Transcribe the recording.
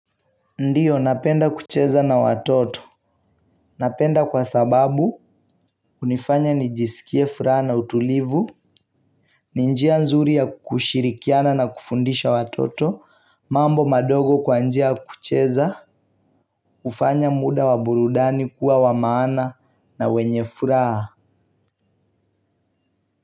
Ndiyo napenda kucheza na watoto napenda kwa sababu hunifanya nijisikie furaha na utulivu ni njia nzuri ya kushirikiana na kufundisha watoto mambo madogo kwa njia ya kucheza hufanya muda wa burudani kuwa wa maana na wenye furaha.